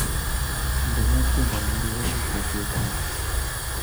Indenee tiendo neurereni koketini